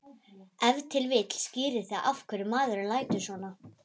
Ef til vill skýrir það af hverju maðurinn lætur svona.